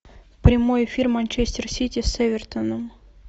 прямой эфир манчестер сити с эвертоном